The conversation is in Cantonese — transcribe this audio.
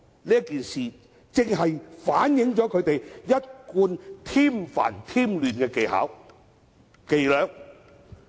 這件事件正好反映他們一貫添煩、添亂的伎倆。